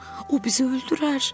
O bizi öldürər.